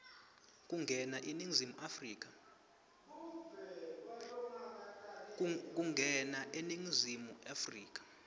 kungena eningizimu afrika